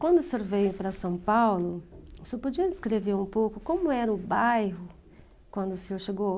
Quando o senhor veio para São Paulo, o senhor podia descrever um pouco como era o bairro quando o senhor chegou?